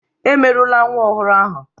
Emerula nwa ọhụrụ ahụ!